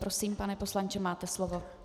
Prosím, pane poslanče, máte slovo.